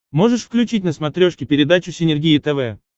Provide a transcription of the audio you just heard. можешь включить на смотрешке передачу синергия тв